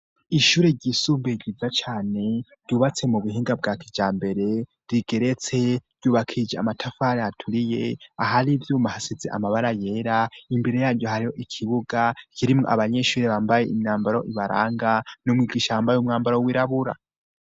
ishure ry'isubumbuye ryiza cane ryubatse mu buhinga bwa kijambere rigeretse ryubakije amatafari aturiye ahari ivyuma hasize amabara yera imbere yaryo hariho ikibuga kirimwo abanyeshuri bambaye imyambaro ibaranga n'umwigisha wambaye 'umwambaro w'irabura